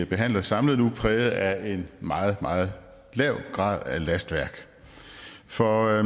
behandler samlet nu præget af en meget meget lav grad af lastværk for